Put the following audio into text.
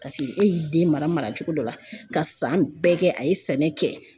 Paseke e y'i den mara mara cogo dɔ la ka san bɛɛ kɛ a ye sɛnɛ kɛ.